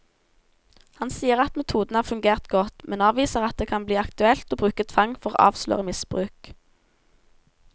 Han sier at metoden har fungert godt, men avviser at det kan bli aktuelt å bruke tvang for å avsløre misbruk.